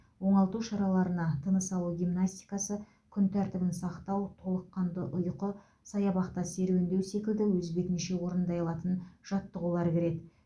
оңалту шараларына тыныс алу гимнастикасы күн тәртібін сақтау толыққанды ұйқы саябақта серундеу секілді өз бетінше орындай алатын жаттығулар кіреді